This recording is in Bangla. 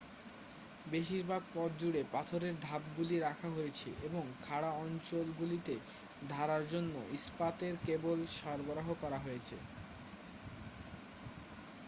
বেশিরভাগ পথ জুড়ে পাথরের ধাপগুলি রাখা হয়েছে এবং খাড়া অঞ্চলগুলিতে ধরার জন্য ইস্পাতের কেবল সরবরাহ করা আছে